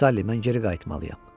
Sullivan, mən geri qayıtmalıyam.